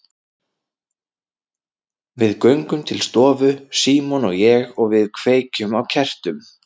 Við göngum til stofu, Símon og ég, og við kveikjum á kertum.